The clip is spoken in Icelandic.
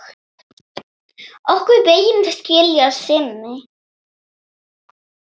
Okkar vegir skilja að sinni.